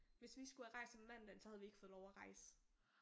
Hvis vi skulle have rejst om mandagen så havde vi ikke fået lov at rejse